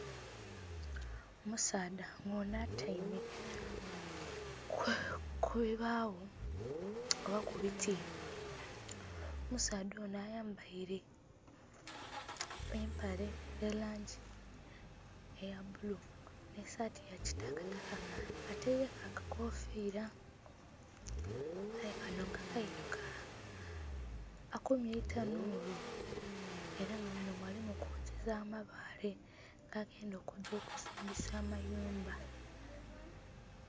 Omusaadha nga onho atyaime ku bibaagho oba ku biti omusaadha onho ayambaile empale eya langi eya bulu nhi saati ya kitakataka ataileku akakofiiila, aye kanho nga kailugala akumye etanhulu ela nga munho mwali mu kwokyeza amabaale ga genda okugya okuzinbisa amayumba.